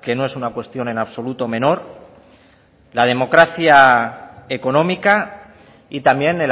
que no es una cuestión en absoluto menor la democracia económica y también el